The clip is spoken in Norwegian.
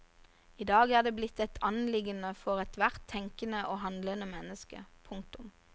I dag er det blitt et anliggende for ethvert tenkende og handlende menneske. punktum